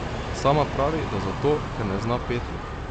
Sama pravi, da zato, ker ne zna peti.